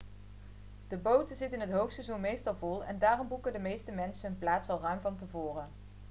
de boten zitten in het hoogseizoen meestal vol en daarom boeken de meeste mensen hun plaats al ruim van tevoren